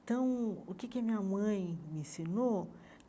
Então, o que a minha mãe me ensinou?